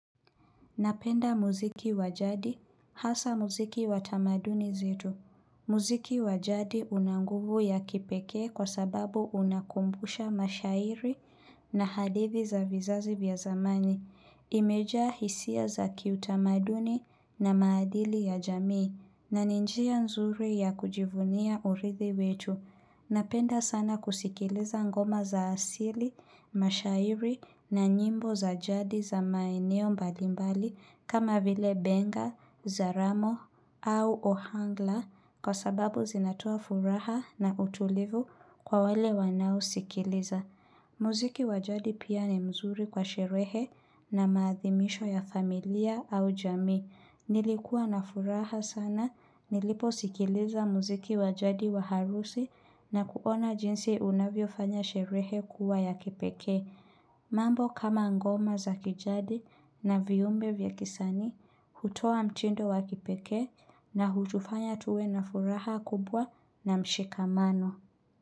Napenda muziki wa jadi, hasa muziki wa tamaduni zetu. Muziki wa jadi una nguvu ya kipekee kwa sababu unakumbusha mashairi na hadithi za vizazi vya zamani. Imejaa hisia za kiutamaduni na maadili ya jamii na ni njia nzuri ya kujivunia urithi wetu. Napenda sana kusikiliza ngoma za asili, mashairi na nyimbo za jadi za maeneo mbalimbali kama vile benga, zaramo au ohangla kwa sababu zinatoa furaha na utulivu kwa wale wanao sikiliza. Muziki wa jadi pia ni mzuri kwa sherehe na maathimisho ya familia au jamii. Nilikuwa na furaha sana, nilipo sikiliza muziki wa jadi wa harusi na kuona jinsi unavyo fanya sherehe kuwa ya kipekee. Mambo kama ngoma za kijadi na viyumbe vya kisanii, hutoa mchindo wa kipekee na huchufanya tuwe na furaha kubwa na mshikamano.